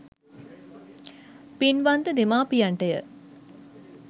පින්වන්ත දෙමාපියන්ට ය.